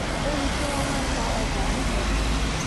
ó rí i pé wọ́n máa ń ta ọjà níjọsìn